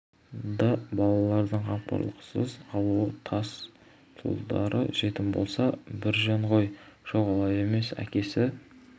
да балалардың қамқорлықсыз қалуы тас тұлдыр жетім болса бір жөн ғой жоқ олай емес әкесі